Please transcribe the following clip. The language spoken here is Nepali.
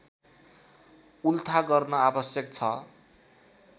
उल्था गर्न आवश्यक छ